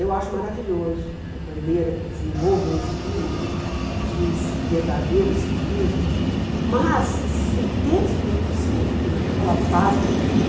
Eu acho maravilhoso uma bandeira que desenvolva um espírito de verdadeiro civismo, mas ter espírito cívico naquela fase que eu vivi,